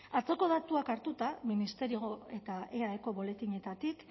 atzoko datuak hartuta ministerioko eta eaeko boletinetatik